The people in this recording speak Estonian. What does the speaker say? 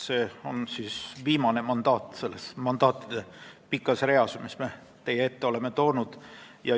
See on viimane mandaat selles pikas mandaatide reas, mis me täna teie ette toonud oleme.